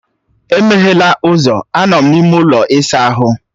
Emeghela ụzọ, anọ m n’ime ụlọ ịsa ahụ.